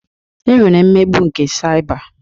E nwere mmegbu nke saịba.